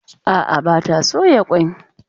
A'a, ba ta soya kwai.